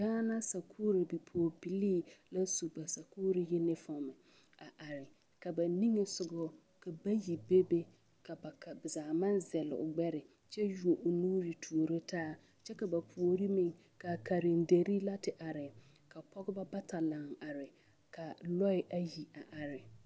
Gaana sakuurI pɔgebilee la su ba sakuuri yunifɔm a are ka ba nigesɔgɔ ka bayi bebe ka ba zaa a meŋ zɛl o gbɛre kyɛ yuo o nuure tuoro taa kyɛ ka ba puori meŋ karenderi la te are ka pɔgeba bata laŋ are ka lɔɛ ayi a are.